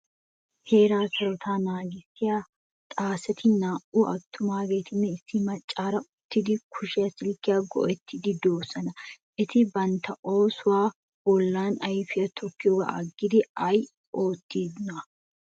Heeraa sarotetta naagissiyaa xaacetti naa'u attumagetinne issi maccarira uttidi kushe silkiya go'ettidi de'osona. Eti bantta oosuwaa bollan ayfiyaa tokkiyoga aggidi ay oottiyona?